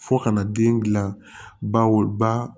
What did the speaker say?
Fo ka na den gilan baw ba